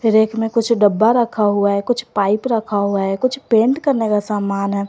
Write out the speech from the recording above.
Rake में कुछ डब्बा रखा हुआ है कुछ पाइप रखा हुआ है कुछ पेंट करने का सामान है।